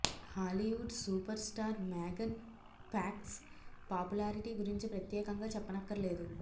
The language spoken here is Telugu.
Hollywood superstar Megan Fox popularity గురించి ప్రత్యేకంగా చెప్పనక్కర్లేదు